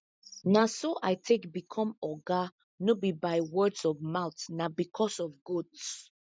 na so i take become oga no be by words of mouth na because of goats